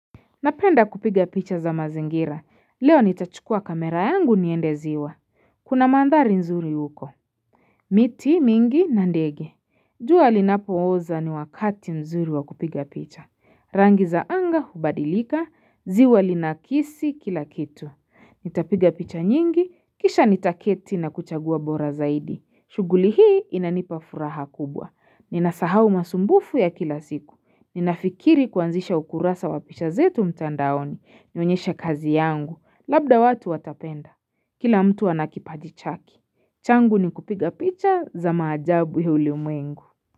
Napenda kupiga picha za mazingira. Leo nitachukua kamera yangu niende ziwa. Kuna mandhari nzuri uko. Miti mingi na ndege. Jua linapooza ni wakati mzuri wa kupiga picha. Rangi za anga hubadilika, ziwa linakisi kila kitu. Nitapiga picha nyingi, kisha nitaketi na kuchagua bora zaidi. Shughuli hii inanipa furaha kubwa. Ninasahau masumbufu ya kila siku. Ninafikiri kuanzisha ukurasa wa picha zetu mtandaoni, nionyeshe kazi yangu, labda watu watapenda Kila mtu ana kipaji chake, changu ni kupiga picha za maajabu ulimwengu.